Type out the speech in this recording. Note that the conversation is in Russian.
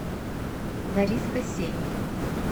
лариска сень